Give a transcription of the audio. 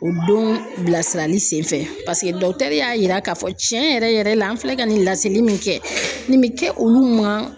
O don bilasirali sen fɛ y'a yira k'a fɔ tiɲɛ yɛrɛ yɛrɛ la an filɛ ka nin laseli min kɛ nin bɛ kɛ olu ma